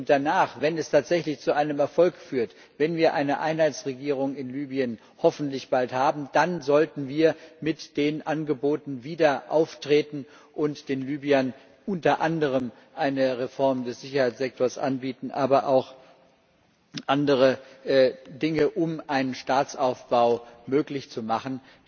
Und danach, wenn es tatsächlich zu einem Erfolg führt, wenn wir hoffentlich bald eine Einheitsregierung in Libyen haben, dann sollten wir mit den Angeboten wieder auftreten und den Libyern unter anderem eine Reform des Sicherheitssektors anbieten, aber auch andere Dinge, um einen Staatsaufbau möglich zu machen.